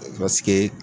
Paseke